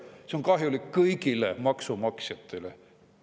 See on kahjulik kõigile maksumaksjatele.